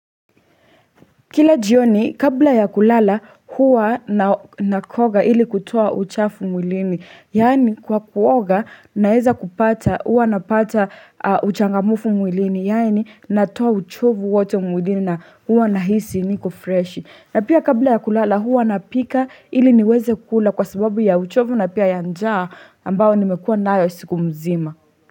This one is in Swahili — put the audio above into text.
Kila jioni kabla ya kulala huwa nakoga ili kutoa uchafu mwilini Yani kwa kuoga naeza kupata huwa napata uchangamufu mwilini Yaani natoa uchovu wote mwilini na huwa nahisi niko fresh na pia kabla ya kulala huwa napika ili niweze kula kwa sababu ya uchovu na pia yanjaa ambao nimekua nayo siku mzima.